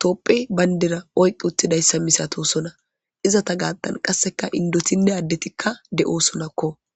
topphe bayndera oyqi uttidayssa misato sona izata gaattan qasseka indotinne addetikka de'osonakko.